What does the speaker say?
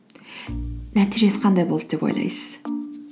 нәтижесі қандай болды деп ойлайсыз